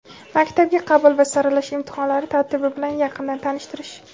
maktabga qabul va saralash imtihonlari tartibi bilan yaqindan tanishtirish.